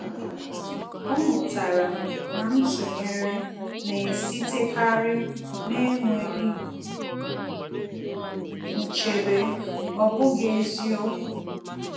Ọ́ mụ́tàrà na ntụnyere nà-èsítékárí n’énwéghị́ nchebe, ọ́ bụ́ghị́ eziokwu.